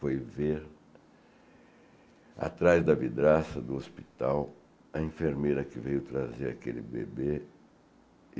Foi ver, atrás da vidraça do hospital, a enfermeira que veio trazer aquele bebê.